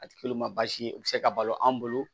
A ti k'olu ma baasi ye u bi se ka balo an bolo